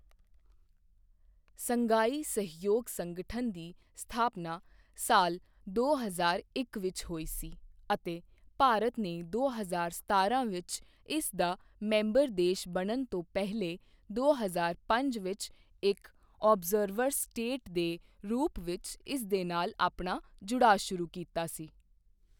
Shanghai ਸਹਿਯੋਗ ਸੰਗਠਨ ਦੀ ਸਥਾਪਨਾ ਸਾਲ ਦੋ ਹਜ਼ਾਰ ਇੱਕ ਵਿੱਚ ਹੋਈ ਸੀ ਅਤੇ ਭਾਰਤ ਨੇ ਦੋ ਹਜ਼ਾਰ ਸਤਾਰਾਂ ਵਿੱਚ ਇਸ ਦਾ ਮੈਂਬਰ ਦੇਸ਼ ਬਣਨ ਤੋਂ ਪਹਿਲੇ ਦੋ ਹਜ਼ਾਰ ਪੰਜ ਵਿੱਚ ਇੱਕ ਔਬਜ਼ਰਵਰ ਸਟੇਟ ਦੇ ਰੂਪ ਵਿੱਚ ਇਸ ਦੇ ਨਾਲ ਆਪਣਾ ਜੁੜਾਅ ਸ਼ੁਰੂ ਕੀਤਾ ਸੀ।